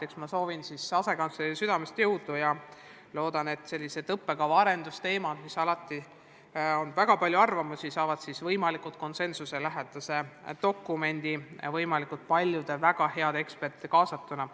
Eks ma soovin asekantslerile südamest jõudu ja loodan, et kuigi õppekava arendamise kohta on väga palju arvamusi, saab loodud võimalikult konsensuslik dokument, mille koostamisse on kaasatud võimalikult palju väga häid eksperte.